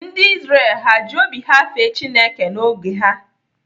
Ndị Izrel ha ji obi ha fee Chineke n'oge ha?